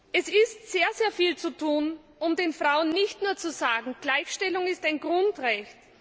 Es ist sehr viel zu tun, um den Frauen nicht nur zu sagen, Gleichstellung ist ein Grundrecht.